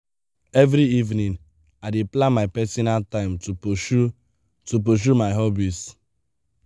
every evening i dey plan my personal time to pursue to pursue my hobbies.